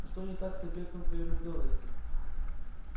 что не так с объектом твоей влюблённости